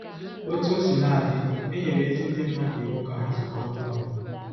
Otú o sina dị, e nyere ezi ndị mmadụ iwu ka ha zukọta ọnụ.